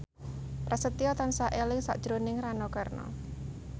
Prasetyo tansah eling sakjroning Rano Karno